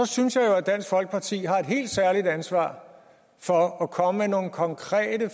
synes jo at dansk folkeparti har et helt særligt ansvar for at komme med nogle konkrete